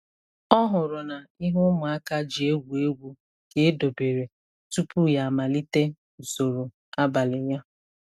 Ọ hụrụ na ihe ụmụaka ji egwu egwu ka edobere tupu ya amalite usoro abalị ya.